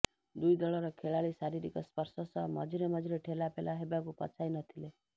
ଦୁଇ ଦଳର ଖେଳାଳି ଶାରୀରିକ ସ୍ପର୍ଶ ସହ ମଝିରେ ମଝିରେ ଠେଲା ପେଲା ହେବାକୁ ପଛାଇ ନଥିଲେ